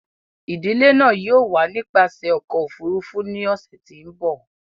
Idile náa yóò wa nipasẹ ọkọ ofurufu ni ọsẹ ti n bọ.